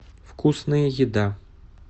вкусная еда